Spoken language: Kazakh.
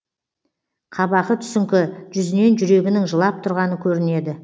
қабағы түсіңкі жүзінен жүрегінің жылап тұрғаны көрінеді